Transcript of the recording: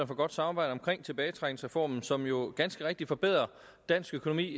for godt samarbejde omkring tilbagetrækningsreformen som jo ganske rigtigt forbedrer dansk økonomi